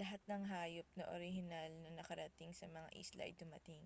lahat ng hayop na orihinal na nakarating sa mga isla ay dumating